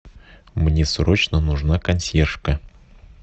мне срочно нужна консьержка